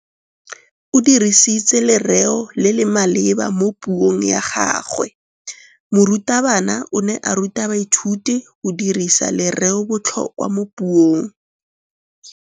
O dirisitse lerêo le le maleba mo puông ya gagwe. Morutabana o ne a ruta baithuti go dirisa lêrêôbotlhôkwa mo puong.